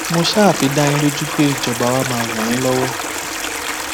mo ṣáà fi dá yín lójú pé ìjọba wa máa ràn yín lọwọ